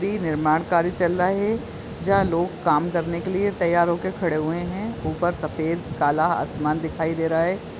निर्माण कार्य चल रहा है जहाँ लोग काम करने के लिए तैयार हो के खड़े हुए है ऊपर सफ़ेद काला आसमान दिखाई दे रहा है।